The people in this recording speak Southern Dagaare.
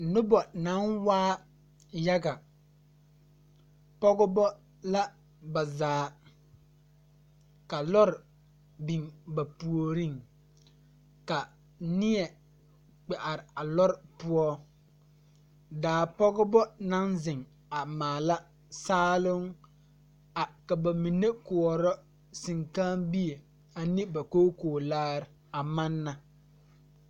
Nobɔ naŋ waa yaga pɔgebɔ la ba zaa ka lɔre biŋ ba puoriŋ ka neɛ kpɛ are a lɔre poɔ daa pogebɔ naŋ zeŋ a maala saaloŋ a ka ba mine koɔrɔ seŋkããbie ane ba kookoolaare a manna.